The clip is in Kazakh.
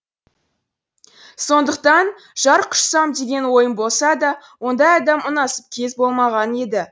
сондықтан жар құшсам деген ойым болса да ондай адам ұнасып кез болмаған еді